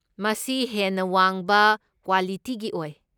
ꯃꯁꯤ ꯍꯦꯟꯅ ꯋꯥꯡꯕ ꯀ꯭ꯋꯥꯂꯤꯇꯤꯒꯤ ꯑꯣꯏ꯫